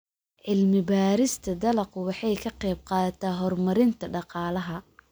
Cilmi-baarista dalaggu waxay ka qaybqaadataa horumarinta dhaqaalaha.